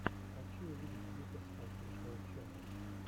хочу увидеть витас офишиал ченнэл